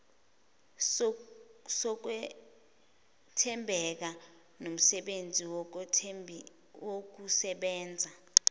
sokwethembeka nomsebenzi wokusebenza